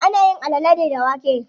Ana yin alale ne da wake.